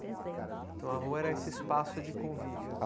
Então a rua era esse espaço de convívio.